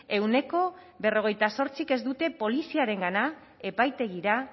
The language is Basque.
ehuneko berrogeita zortzik ez dute poliziarengana epaitegira